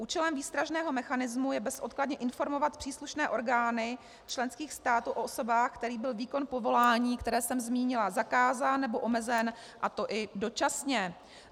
Účelem výstražného mechanismu je bezodkladně informovat příslušné orgány členských států o osobách, kterým byl výkon povolání, které jsem zmínila, zakázán nebo omezen, a to i dočasně.